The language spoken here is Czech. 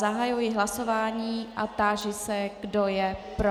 Zahajuji hlasování a táži se, kdo je pro.